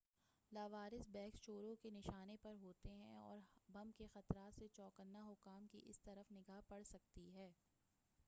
لاوارث بیگس چوروں کے نشانے پر ہوتے ہیں اور بم کے خطرات سے چوکنےحکّام کی اس طرف نگاہ پڑسکتی ہے